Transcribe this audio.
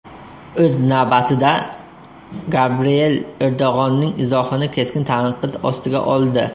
O‘z navbatida, Gabriel Erdo‘g‘onning izohini keskin tanqid ostiga oldi.